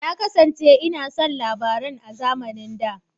Na kasance ina son labaran a zamanin da.